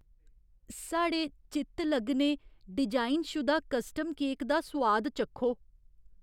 साढ़े चित्तलग्गने डिजाइनशुदा कस्टम केक दा सोआद चक्खो।